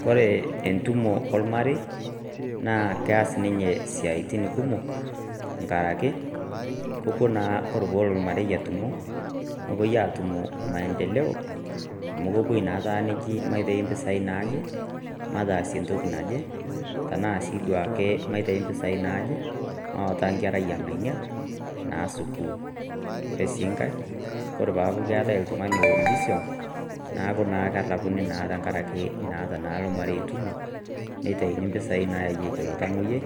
Kore entumo lmarei, naa keas ninyee isiaitin kumok, enkaraki, ore naa pewuo olmarei aatumo, nepuoi aatum maendeleo, amu keppuoi naa netaa eji maitayu impisai naaje, mataasie entoki naje, tanaa sii duo ake, maitayu impisai naaje, mawaita enkerai e ng'ania naa sukuul. Kore sii enkai, ore pee etaa keatai oltung'ani oibisiong', neaku naa ketaa erapuni tenkaraki etaa eata ilo marei entumo, neitayuni impisai naayieki ilo tamwoiyiai,